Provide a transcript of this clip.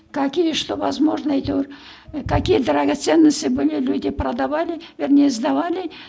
какие что возможно әйтеуір какие дрогоценности были люди продовали вернее сдавали